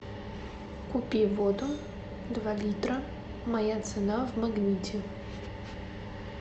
купи воду два литра моя цена в магните